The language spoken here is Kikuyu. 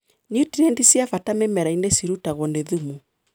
Nutrienti cia bata mĩmerainĩ cirutagwo nĩ thumu.